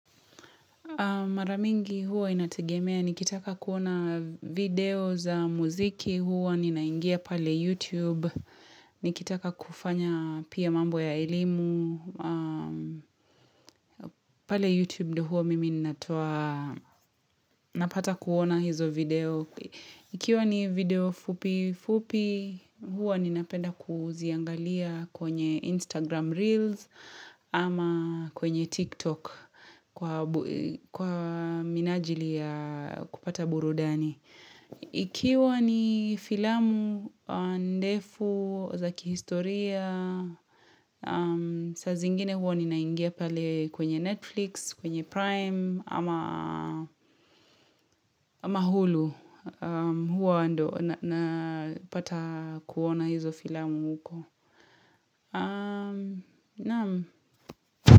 Mara mingi huwa inategemea, nikitaka kuona video za muziki huwa ninaingia pale YouTube, nikitaka kufanya pia mambo ya elimu, pale YouTube ndio huwa mimi ninatoa napata kuona hizo video. Ikiwa ni video fupi fupi, huwa ninapenda kuziangalia kwenye Instagram Reels ama kwenye TikTok kwa minajili ya kupata burudani. Ikiwa ni filamu, ndefu, za kihistoria, saa zingine huwa ninaingia pale kwenye Netflix, kwenye Prime, ama ama Hulu huwa ndo napata kuona hizo filamu huko.